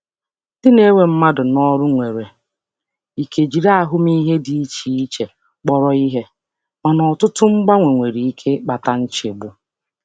um Ndị na-ewe um mmadụ n'ọrụ nwere ike iji ahụmịhe dị iche iche kpọrọ ihe, mana ịgbanwe ọtụtụ nwere ike ịkpata nchegbu. um